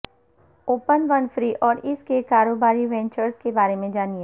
Oprah Winfrey اور اس کے کاروباری وینچرز کے بارے میں جانیں